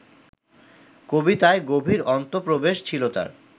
কবিতায় গভীর অন্তঃপ্রবেশ ছিল তাঁর